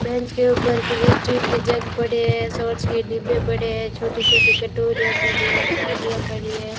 Bench के ऊपर कुछ स्टील के जग पड़े हैं सॉस के डिब्बे पड़े हैं छोटी-छोटी कटोरियां पड़ी हैं थालियां पड़ी है।